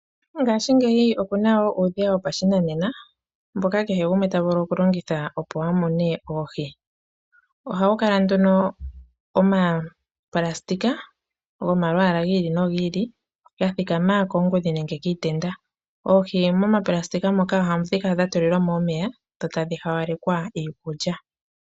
Ngaashingeyi opu na wo uudhiya wopashinanena, mboka kehe gumwe ta vulu okulongitha, opo a mune oohi. Ohawu kala nduno omapulasitika gomalwaala gi ili nogi ili ga thikama koongudhi nenge kiitenda. Oohi momapulasitika moka ohadhi kala dha tulilwa mo omeya dho tadhi hawalekwa iikulya.